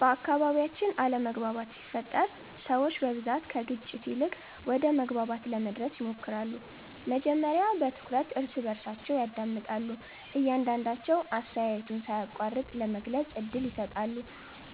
በአካባቢያችን አለመግባባት ሲፈጠር ሰዎች በብዛት ከግጭት ይልቅ ወደ መግባባት ለመድረስ ይሞክራሉ። መጀመሪያ በትኩረት እርስ በርሳቸውን ያዳምጣሉ፣ እያንዳቸዉ አስተያየቱን ሳይቋረጥ ለመግለጽ እድል ይሰጣሉ።